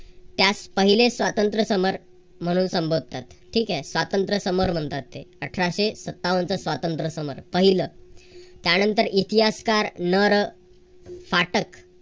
त्यास पहिले स्वातंत्र्यसमर म्हणून संबोधतात. ठीक आहे. स्वातंत्र्य समर म्हणतात ते अठराशे सत्तावनचे स्वातंत्र्यसमर पहिल. त्यानंतर इतिहासकार नर पाठक